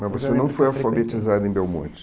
Mas você não foi alfabetizada em Belmonte?